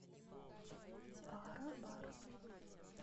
паробар